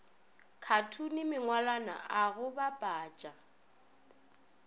khathune mangwalwana a go bapatša